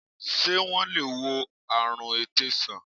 Ṣé wọn le wo àrùn ètè san?